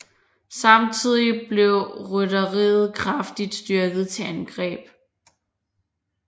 Samtidig blev rytteriet kraftigt styrket til angreb